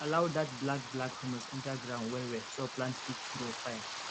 allow dat black black humus enter ground well well so plants fit grow fine